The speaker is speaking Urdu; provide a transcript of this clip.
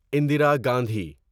اندرا گاندھی